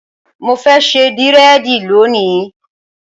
Mo fẹ́ ṣe dírẹ̀dì lónìí.